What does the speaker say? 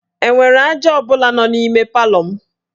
E nwere aja ọ bụla nọ n'ime palọ m?